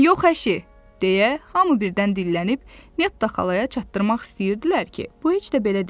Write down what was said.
Yox, əşi, deyə hamı birdən dillənib Netta xalaya çatdırmaq istəyirdilər ki, bu heç də belə deyil.